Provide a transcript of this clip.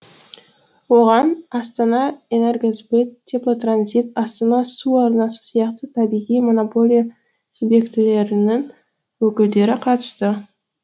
оған астанаэнергосбыт теплотранзит астана су арнасы сияқты табиғи монополия субъектілерінің өкілдері қатысты